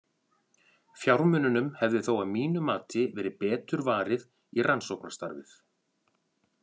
Fjármununum hefði þó að mínu mati verið betur varið í rannsóknastarfið.